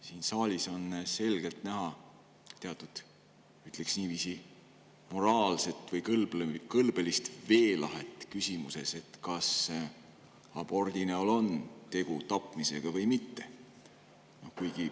Siin saalis on selgelt näha, ütleksin niiviisi, teatud moraalset või kõlbelist veelahet küsimuses, kas abordi näol on tegu tapmisega või mitte.